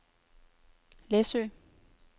Læsø